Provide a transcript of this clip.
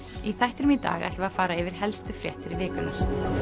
í þættinum í dag ætlum við að fara yfir helstu fréttir vikunnar